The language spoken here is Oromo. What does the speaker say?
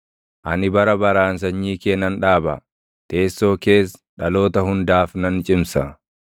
‘Ani bara baraan sanyii kee nan dhaaba; teessoo kees dhaloota hundaaf nan cimsa.’ ”